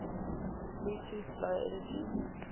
bluetooth low energy